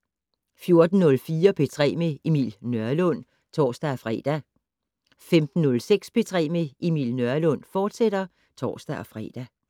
14:04: P3 med Emil Nørlund (tor-fre) 15:06: P3 med Emil Nørlund, fortsat (tor-fre)